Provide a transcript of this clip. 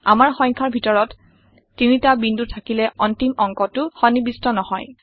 আমাৰ সংখ্যাৰ ভিতৰত ৩টা বিন্দু থাকিলে অন্তিম অংকটো সন্নিবিষ্ট নহয়